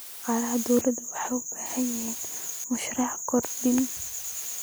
Shaqaalaha dawladdu waxay u baahan yihiin mushahar kordhin.